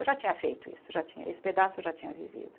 Eu já tinha feito isso, já tinha esse pedaço eu já tinha vivido.